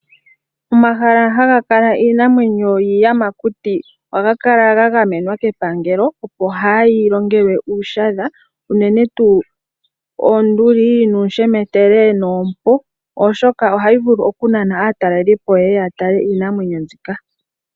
Omahala haga kala iinamwenyo yiiyamakuti ohaga kala ga gamenwa kepangelo opo kaayi longelwe uushadha unene tuu oonduli, nuushemetele noompo oshoka ohayi vulu oku nana aatalelipo yeye ya tale iinamwenyo mbika.